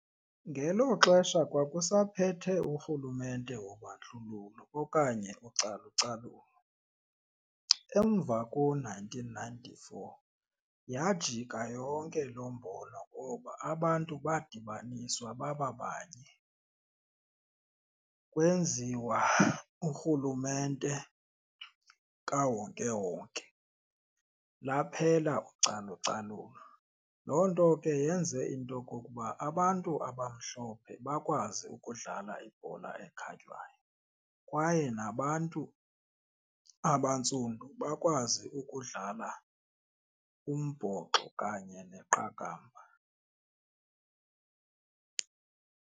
Ngelo xesha kwakusaphethe urhulumente wobandlululo okanye ucalucalulo. Emva ko-nineteen ninety-four yajika yonke loo mbono ngoba abantu badibaniswa baba abanye kwenziwa urhulumente kawonkewonke, laphela ucalucalulo. Loo nto ke yenze into okokuba abantu abamhlophe bakwazi ukudlala ibhola ekhatywayo kwaye nabantu abantsundu bakwazi ukudlala umbhoxo kanye neqakamba.